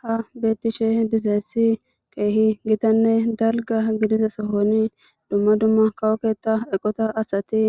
ha bettishe dizeessi keehi gitanne dalga gidiza sohoni dumma dumma kawoketa eqota asati